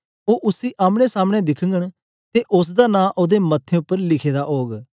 ओ उस्से आमने समने दिखघंन ते उस्स दा नां ओदे मत्थें उपर लिखे दा ओग